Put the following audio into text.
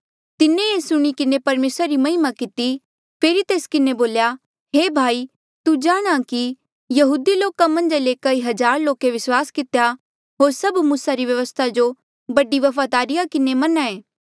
तिन्हें ये सुणी किन्हें परमेसरा री महिमा किती फेरी तेस किन्हें बोल्या हे भाई तू जाणहां कि यहूदी लोका मन्झा ले कई हजार लोके विस्वास कितेया होर सभ मूसा री व्यवस्था जो बड़े वफादारी किन्हें मनाएं